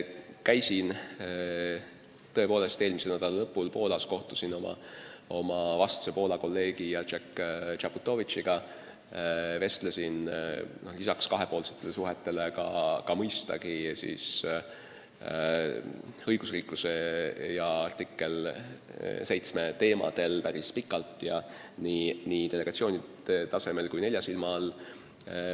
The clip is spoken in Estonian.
Käisin tõepoolest eelmise nädala lõpus Poolas, kohtusin oma vastse Poola kolleegi Jacek Czaputowicziga, vestlesin temaga lisaks kahepoolsetele suhetele mõistagi ka õigusriikluse ja artikkel 7 teemadel päris pikalt, ja seda nii delegatsiooni tasemel kui nelja silma all.